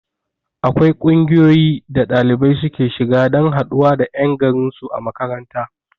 Akwai ƙungiyoyi da ɗalibai suke shiga dan haɗuwa da ƴan garin su a makaranta